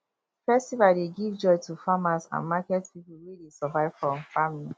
festival dey give joy to farmers and market people wey dey survive from farming